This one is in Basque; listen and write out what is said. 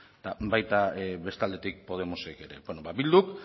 eta baita beste aldetik podemosek ere bilduk